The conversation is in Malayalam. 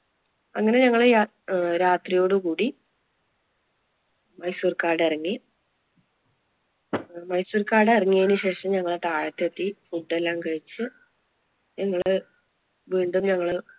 അങ്ങനെ ഞങ്ങള് അഹ് രാത്രിയോട് കൂടി മൈസൂർ കാടിറങ്ങി. മൈസൂർ കാടിറങ്ങിയതിനു ശേഷം ഞങ്ങൾ താഴത്തെത്തി food എല്ലാം കഴിച്ച് ഞങ്ങള് വീണ്ടും ഞങ്ങള്,